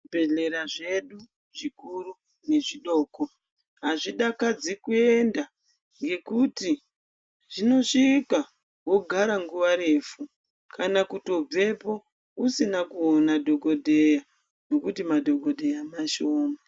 Zvibhehlera zvedu zvikuru nezvidoko azvidakadzi kuenda nekuti zvinosvika wogara nguwa refu kana kuto bvepo usina kuona dhokodheya nokuti madhokodheya mashoma